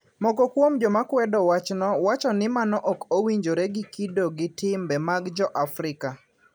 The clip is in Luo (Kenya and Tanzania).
Moko kuom joma kwedo wachno wacho ni mano ok owinjore gi kido gi timbe mag jo Afrika.